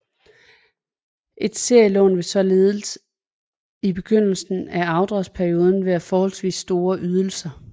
Et serielån vil således i begyndelsen af afdragsperioden havde forholdsvis store ydelser